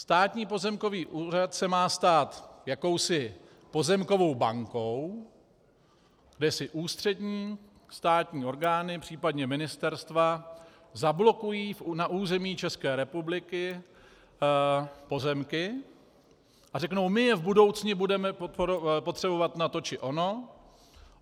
Státní pozemkový úřad se má stát jakousi pozemkovou bankou, kde si ústřední státní orgány, případně ministerstva zablokují na území České republiky pozemky a řekou: My je v budoucnu budeme potřebovat na to či ono.